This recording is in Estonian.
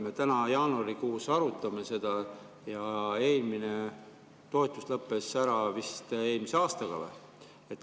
Me täna, jaanuarikuus arutame seda ja eelmine toetus lõppes ära vist eelmise aastaga.